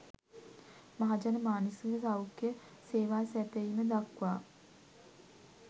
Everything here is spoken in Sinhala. මහජන මානසික සෞඛ්‍ය සේවා සැපයීම දක්වා